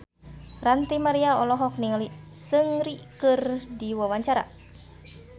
Ranty Maria olohok ningali Seungri keur diwawancara